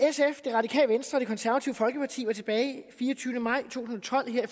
radikale venstre og det konservative folkeparti var tilbage den fireogtyvende maj to tusind og tolv her